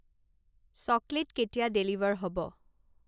Chocolate কেতিয়া deliver হ'ব?